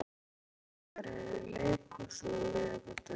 Lóló, hvaða sýningar eru í leikhúsinu á miðvikudaginn?